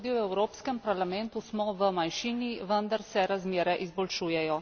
Tudi v Evropskem parlamentu smo v manjšini, vendar se razmere izboljšujejo.